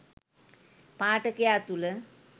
පාඨකයා තුළ